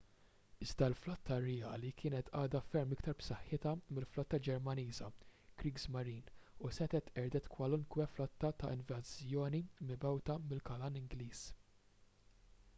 iżda l-flotta rjali kienet għadha ferm iktar b’saħħitha mill-flotta ġermaniża kriegsmarine” u setgħet qerdet kwalunkwe flotta ta’ invażjoni mibgħuta mill-kanal ingliż